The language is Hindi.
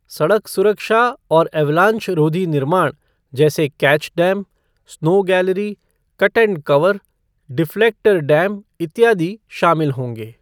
सड़क सुरक्षा और अवलांच रोधी निर्माण जैसे catch dam, snow gallery, cut and cover, deflector dam इत्यादि शामिल होंगे।